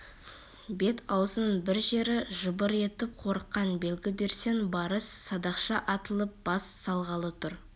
бет-аузыңның бір жері жыбыр етіп қорыққан белгі берсең барыс садақша атылып бас салғалы тұр